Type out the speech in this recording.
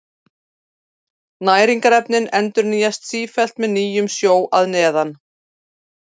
Næringarefnin endurnýjast sífellt með nýjum sjó að neðan.